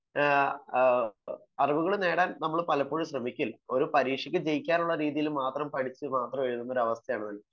അറിവുകൾ നേടാൻ നമ്മൾ പലപ്പോഴും ശ്രമിക്കില്ല . ഒരു പരീക്ഷക്ക് ജയിക്കാനുള്ള രീതിയിൽ മാത്രം പഠിച്ചു പരീക്ഷ എഴുതുന്ന അവസ്ഥയാണ്